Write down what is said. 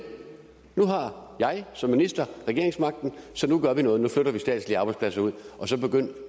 nu har jeg som minister regeringsmagten så nu gør vi noget nu flytter vi statslige arbejdspladser ud så begynd